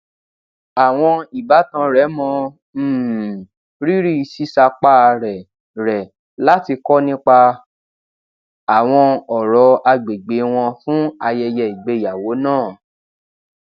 àwọn ìbátan rè mọ um rírì sísapá rè rè láti kó nípa àwọn òrò agbègbè wọn fún ayẹyẹ ìgbéyàwó náà